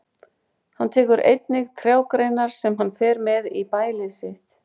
Hann tekur einnig trjágreinar sem hann fer með í bælið sitt.